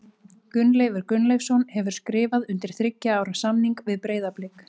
Gunnleifur Gunnleifsson hefur skrifað undir þriggja ára samning við Breiðablik.